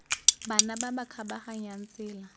bana ba ba kgabaganyang tsela